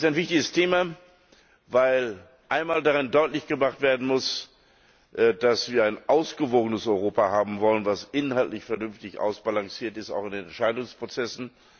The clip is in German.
Das ist ein wichtiges Thema, weil einmal daran deutlich gemacht werden muss, dass wir ein ausgewogenes Europa haben wollen, das inhaltlich vernünftig ausbalanciert ist, auch in den Entscheidungsprozessen.